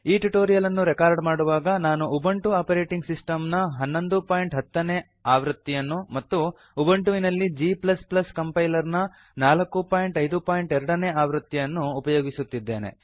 ಈ ಟ್ಯುಟೋರಿಯಲ್ ಅನ್ನು ರೆಕಾರ್ಡ್ ಮಾಡುವಾಗ ನಾನು ಉಬುಂಟು ಆಪರೇಟಿಂಗ್ ಸಿಸ್ಟಮ್ ನ 1110 ನೇ ಆವೃತ್ತಿಯನ್ನು ಮತ್ತು ಉಬುಂಟು ನಲ್ಲಿ g ಕಂಪೈಲರ್ ನ 452 ನೇ ಆವೃತ್ತಿಯನ್ನು ಅನ್ನು ಉಪಯೋಗಿಸಿದ್ದೇನೆ